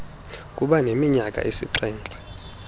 kuba neminyaka esixhenxe